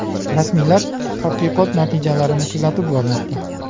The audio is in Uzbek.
Rasmiylar tadqiqot natijalarini kuzatib bormoqda.